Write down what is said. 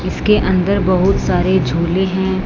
इसके अंदर बहुत सारे झूले हैं।